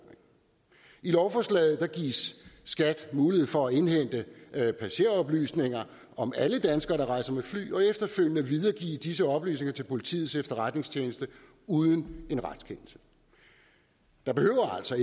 lovforslaget gives skat mulighed for at indhente passageroplysninger om alle danskere der rejser med fly og efterfølgende videregive disse oplysninger til politiets efterretningstjeneste uden en retskendelse der behøver altså